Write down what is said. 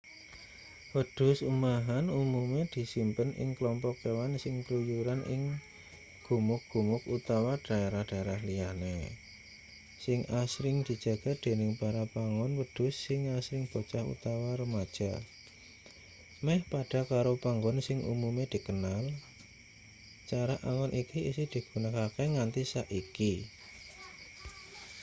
wedhus umahan umume disimpen ing klompok kewan sing kluyuran ing gumuk-gumuk utawa dhaerah-dhaerah liyane sing asring dijaga dening para pangon wedhus sing asring bocah utawa remaja meh padha karo pangon sing umume dikenal cara angon iki isih digunakake nganti saiki